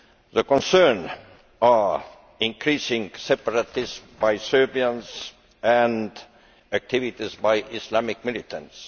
The concerns are increasing separatism by Serbians and activities by Islamic militants.